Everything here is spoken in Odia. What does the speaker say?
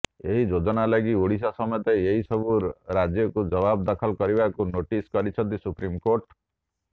ଏହି ଯୋଜନା ଲାଗି ଓଡିଶା ସମେତ ଏସବୁ ରାଜ୍ୟକୁ ଜବାବ ଦାଖଲ କରିବାକୁ ନୋଟିସ କରିଛନ୍ତି ସୁପ୍ରିମକୋର୍ଟ